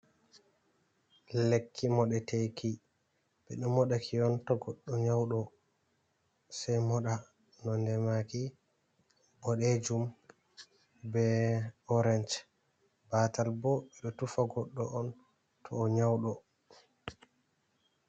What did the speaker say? Lekki modeteki bedo modaki to goddo nyaudo sei moda, nondemaki bodejum be orance batal bo bedo tufa goddo on to o nyaudo.